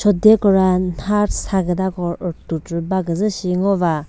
chode kora nha sa kütako rütu prü baküzü shi ngova.